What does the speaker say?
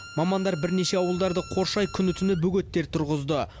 мамандар бірнеше ауылдарды қоршай күні түні бөгеттер тұрғызды